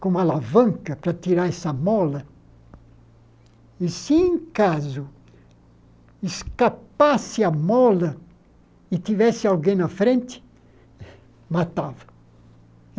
com uma alavanca para tirar essa mola, e se em caso escapasse a mola e tivesse alguém na frente, matava.